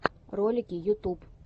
ролики ютуб